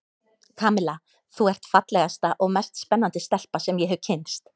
Kamilla, þú ert fallegasta og mest spennandi stelpa sem ég hef kynnst.